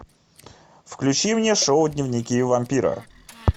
включи мне шоу дневники вампира